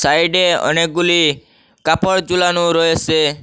সাইডে অনেকগুলি কাপড় জুলানোও রয়েসে ।